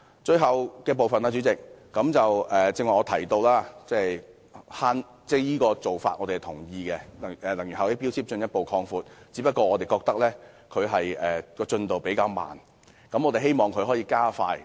最後，主席，正如我剛才提到，我們同意強制性標籤計劃應進一步擴大，只是我們覺得進度比較緩慢，希望可以加快。